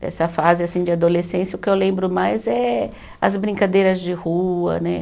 Dessa fase, assim, de adolescência, o que eu lembro mais é as brincadeiras de rua, né?